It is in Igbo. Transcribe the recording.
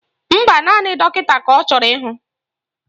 Mba, naanị dọkịta ka ọ chọrọ ịhụ